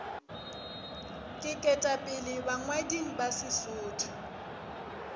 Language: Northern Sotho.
ke ketapele bangwading ba sesotho